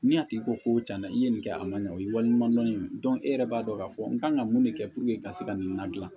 Ni a tigi ko ko cɛn na i ye nin kɛ a ma ɲɛ o ye wali ɲuman dɔndɔn ye e yɛrɛ b'a dɔn k'a fɔ n kan ka mun de kɛ ka se ka nin ladilan